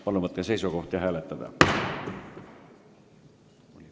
Palun võtke seisukoht ja hääletage!